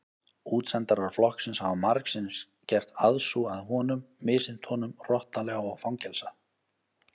Útsendarar flokksins hafa margsinnis gert aðsúg að honum misþyrmt honum hrottalega og fangelsað.